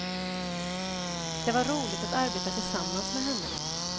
Det var roligt att arbeta tillsammans med henne.